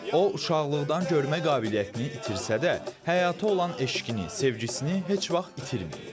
O uşaqlıqdan görmə qabiliyyətini itirsə də, həyata olan eşqini, sevgisini heç vaxt itirməyib.